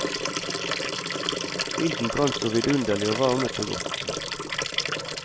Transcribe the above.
Ilden brant så vidunderlig og varmet så godt.